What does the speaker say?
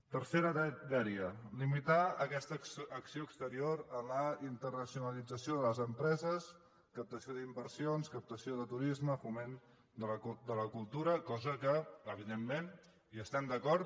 tercera dèria limitar aquesta acció exterior a la internacionalització de les empreses captació d’inversions captació de turisme foment de la cultura cosa que evidentment hi estem d’acord